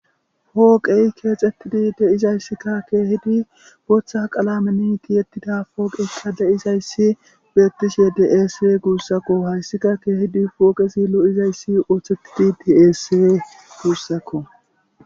Poqey kexetidi de"izayisskka kehidi boththa qalammen tihetida qalamen poqeyikka de'izayssi betishshe de'ese gusakko hayissikka kehidi poqezi lo'izayssi oththetidi de"es gussakko